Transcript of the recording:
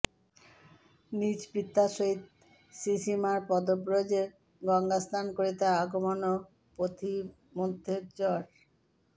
নিজ পিতার সহিত শ্রীশ্রীমার পদব্রজে গঙ্গাস্নান করিতে আগমন ও পথিমধ্যে জ্বর